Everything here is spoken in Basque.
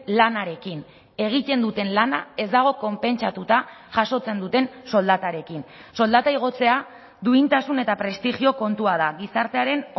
lanarekin egiten duten lana ez dago konpentsatuta jasotzen duten soldatarekin soldata igotzea duintasun eta prestigio kontua da gizartearen